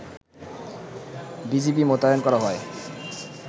BGB মোতায়েন করা হয়